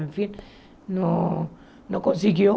Enfim, não não conseguiu.